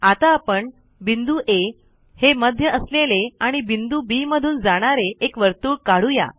आता आपण बिंदू आ हे मध्य असलेले आणि बिंदू बी मधून जाणारे एक वर्तुळ काढू या